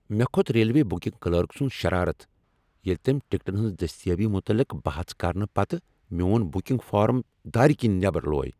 مےٚ کھوٚت railway booking clerk سنٛد شرارت ییٚلہ تٔمۍ ٹکٹن ہنٛز دٔستیٲبی متعلق بحث کرنہٕ پتہٕ میون بکنگ فارم دار کنۍ نیبر لوے۔